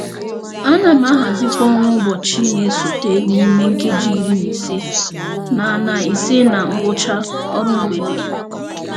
A na m ahazị um ọrụ ụbọchị na-esote n'ime nkeji iri na ise na na ise na ngwụcha ọrụ mgbede m.